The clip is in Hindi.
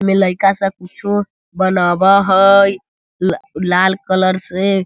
में लयका सब कुछो बनावय हेय ल लाल कलर से।